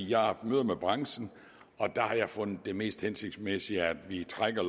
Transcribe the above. jeg har haft møder med branchen og jeg har fundet det mest hensigtsmæssigt at vi trækker